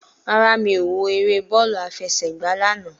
Rárá, mi ò wo eré bọ́ọ̀lù àfẹsẹ̀gba lánàá